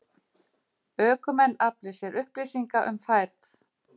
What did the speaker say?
Ökumenn afli sér upplýsinga um færð